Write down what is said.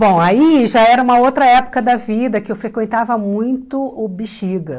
Bom, aí já era uma outra época da vida que eu frequentava muito o Bixiga.